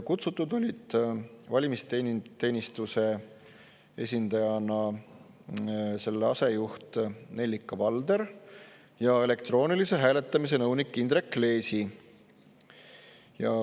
Kutsutud olid valimisteenistuse esindajatena selle asejuht Nellika Valder ja elektroonilise hääletamise nõunik Indrek Leesi.